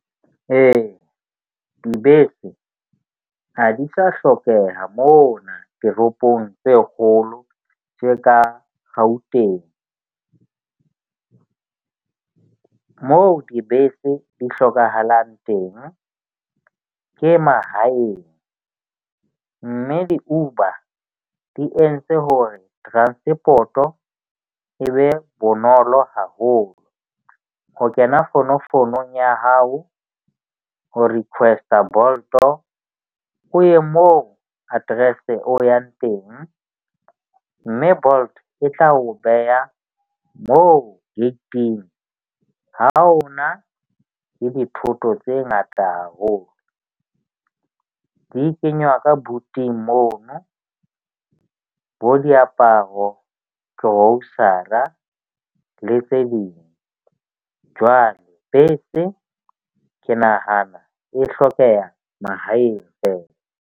Ee, dibese ha di sa hlokeha mona toropong tse kgolo tse ka Gauteng. Moo dibese di hlokahalang teng ke mahaeng, mme di-Uber di entse hore transport-o e be bonolo haholo ho kena fonofonong ya hao. O request-a Bolt-o o ye mo address-e o yang teng, mme Bolt e tla o beha mo gating ha o na le dithoto tse ngata haholo, di kenywa ka buting mono bo diaparo, grocer-a le tse ding. Jwale bese ke nahana e hlokeha mahaeng feela.